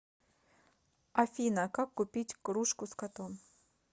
афина как купить кружку с котом